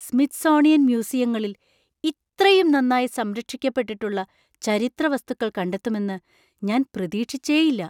Smithsonian മ്യൂസിയങ്ങളിൽ ഇത്രയും നന്നായി സംരക്ഷിക്കപ്പെട്ടിട്ടുള്ള ചരിത്രവസ്തുക്കൾ കണ്ടെത്തുമെന്ന് ഞാൻ പ്രതീക്ഷിച്ചേയില്ല.